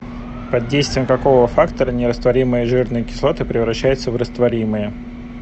под действием какого фактора нерастворимые жирные кислоты превращаются в растворимые